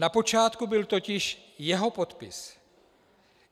Na počátku byl totiž jeho podpis.